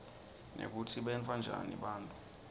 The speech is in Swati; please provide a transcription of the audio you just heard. nekutsi benta njani nabagula